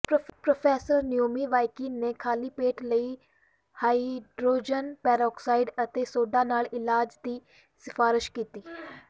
professor Neumyvakin ਨੇ ਖਾਲੀ ਪੇਟ ਲਈ ਹਾਈਡਰੋਜਨ ਪਰਆਕਸਾਈਡ ਅਤੇ ਸੋਡਾ ਨਾਲ ਇਲਾਜ ਦੀ ਸਿਫਾਰਸ਼ ਕੀਤੀ